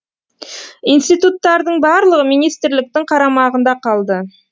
институттардың барлығы министрліктің қарамағында қалды